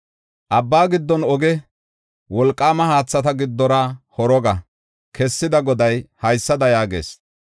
Abba giddon oge, wolqaama haathata giddora horoga kessida Goday haysada yaagees.